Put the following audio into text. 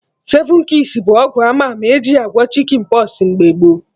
Seven keys bụ ọgwụ ama ama eji agwọ Chicken pox mgbe gboo